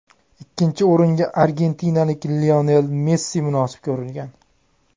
Ikkinchi o‘ringa argentinalik Lionel Messi munosib ko‘rilgan.